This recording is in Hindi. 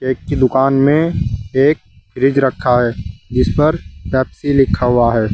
केक की दुकान में एक फ्रिज रखा है जिस पर पेप्सी लिखा हुआ है।